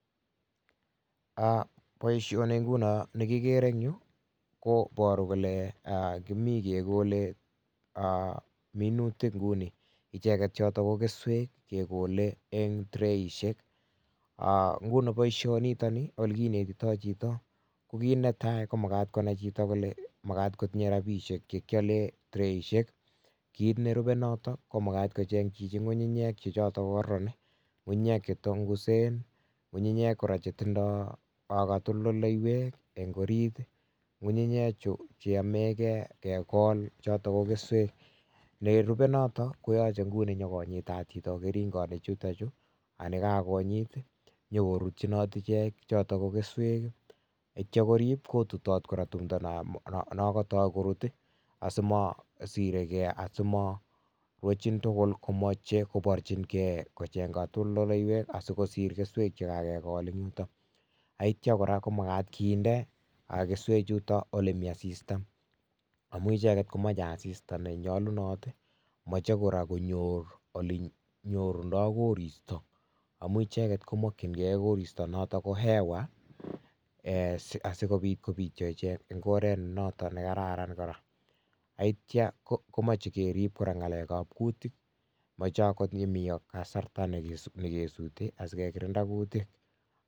Boisioni nguno ne kigeere en yu koboru kole kimi kegole minutik nguni. Icheget choto ko keswek kegole en treishek. Nguni boisionito ni ole kinetito chito kokiit ne tai: komagat konai chito kole magat kotinye rabishek che kyolen traishek. Kit nerube noto ko magat kocheng' chichito ng'ung'unyek che kororon, ng'unyek che tongusen, ng'ung'unyek che tindo katoltolndeiywek en orit. Ng'ung'unyechu cheyome ge kegol choto ko keswech. Ne rube noton koyoche nguni nyokonyitat chito keringoik chuto chu, ago ye kagonyit konyokorutyinot ichek choto ko keswek, ak kityo korib kotutot tumdo non kotok kurut asimosire ge, asimorwochin tugul komoche koborjige kocheng' kotoltoleiwek asi kosir keswek che kagegol en yuton. Ak kityo kora komagat kinde keswechuton ole mi asista amun ichegte komoche asisat nenyolunot, moche kora konyor ole nyorundo koristo. Amun icheget komokinge koristo noton ko hewa asikobit kobityo icheget en ngoret noton ne kararan kora. Ak kityo komoche kerib kora ng'alekab kutik, moche komi kasarta ne kesuuti asikekirinda kutik.